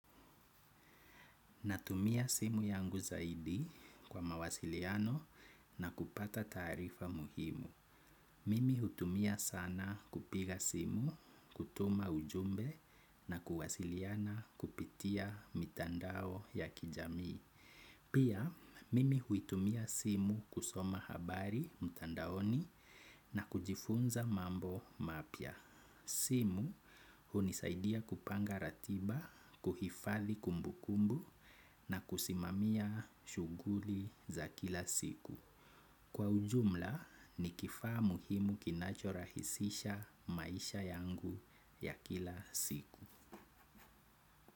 Natumia simu yangu zaidi kwa mawasiliano na kupata tarifa muhimu. Mimi hutumia sanaa kupiga simu, kutuma ujumbe na kuwasiliana kupitia mitandao ya kijamii. Pia, mimi hutumia simu kusoma habari mitandaoni na kujifunza mambo mapya. Simu hunisaidia kupanga ratiba, kuhifadhi kumbukumbu na kusimamia shughuli za kila siku. Kwa ujumla ni kifaa muhimu kinachorahisisha maisha yangu ya kila siku.